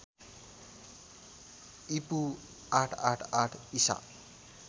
ईपू ८८८ ईसा